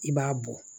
I b'a bɔ